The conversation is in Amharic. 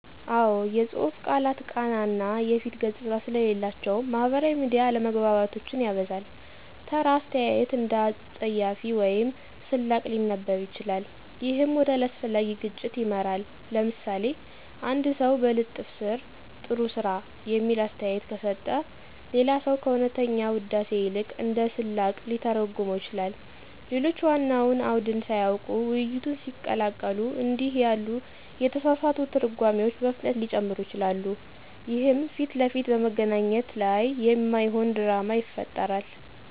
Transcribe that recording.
አዎ፣ የጽሁፍ ቃላት ቃና እና የፊት ገጽታ ስለሌላቸው ማህበራዊ ሚዲያ አለመግባባቶችን ያበዛል። ተራ አስተያየት እንደ አፀያፊ ወይም ስላቅ ሊነበብ ይችላል፣ ይህም ወደ አላስፈላጊ ግጭት ይመራል። ለምሳሌ፣ አንድ ሰው በልጥፍ ስር “ጥሩ ስራ” የሚል አስተያየት ከሰጠ፣ ሌላ ሰው ከእውነተኛ ውዳሴ ይልቅ እንደ ስላቅ ሊተረጉመው ይችላል። ሌሎች ዋናውን አውድን ሳያውቁ ውይይቱን ሲቀላቀሉ እንዲህ ያሉ የተሳሳቱ ትርጓሜዎች በፍጥነት ሊጨምሩ ይችላሉ፣ ይህም ፊት ለፊት በመገናኘት ላይ የማይሆን ድራማ ይፈጥራል።